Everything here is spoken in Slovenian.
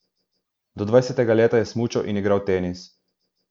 Do devetega leta je smučal in igral tenis.